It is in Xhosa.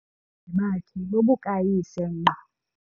bakhe bobukayise ngqo.